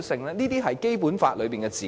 這些都是《基本法》所用的字眼。